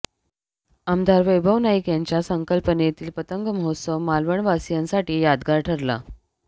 आमदार वैभव नाईक यांच्या संकल्पनेतील पतंग महोत्सव मालवणवासियांसाठी यादगार ठरला